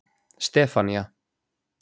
Stefanía